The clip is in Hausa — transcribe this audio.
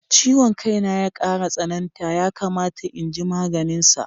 Ciwon ƙai na ya ƙara tsananta, yakamata in yi maganinsa.